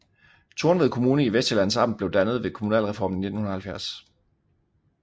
Tornved Kommune i Vestsjællands Amt blev dannet ved kommunalreformen i 1970